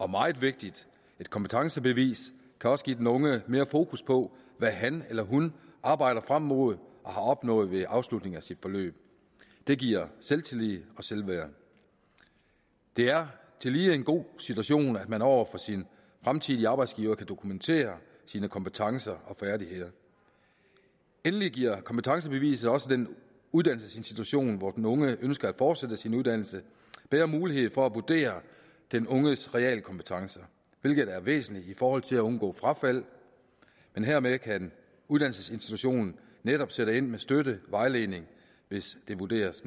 meget vigtigt et kompetencebevis kan også give den unge mere fokus på hvad han eller hun arbejder frem mod og har opnået ved afslutningen af sit forløb det giver selvtillid og selvværd det er tillige en god situation at man over for sin fremtidige arbejdsgiver kan dokumentere sine kompetencer og færdigheder endelig giver kompetencebeviset også den uddannelsesinstitution hvor den unge ønsker at fortsætte sin uddannelse bedre mulighed for at vurdere den unges realkompetencer hvilket er væsentligt i forhold til at undgå frafald hermed kan uddannelsesinstitutionen netop sætte ind med støtte vejledning hvis det vurderes